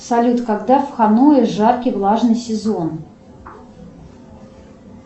салют когда в ханое жаркий влажный сезон